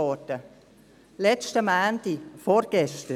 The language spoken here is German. Vergangenen Montag, also vorgestern!